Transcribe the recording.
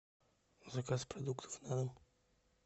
заказ продуктов на дом